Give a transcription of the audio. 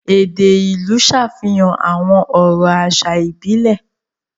Èdè ìlú ń ṣàfihàn àwọn ọ̀rọ̀ àṣà ìbílẹ̀.